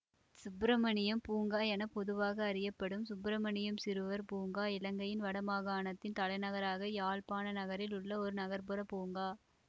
சுப்பிரமணியம் பூங்கா என பொதுவாக அறியப்படும் சுப்பிரமணியம் சிறுவர் பூங்கா இலங்கையின் வட மாகாணத்தின் தலைநகராக யாழ்ப்பாண நகரில் உள்ள ஒரு நகர்ப்புறப் பூங்கா